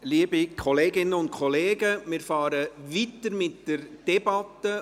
Liebe Kolleginnen und Kollegen, wir fahren weiter mit der Debatte.